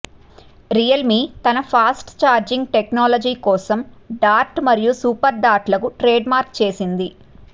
Realme తన fast charging technology కోసం dart మరియు సూపర్ డార్ట్ లకు ట్రేడ్ మార్క్ చేసింది